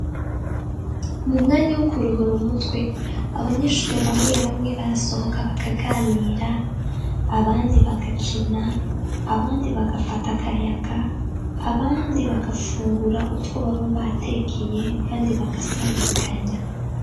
Mu mwanya wo kuruhura umutwe, abanyeshuri bamwe bamwe barasohoka bakaganira, abandi bagakina ,abandi bagafata akayaga , abandi bagafungura utwo baba batekeye ,kandi bagasabikanya.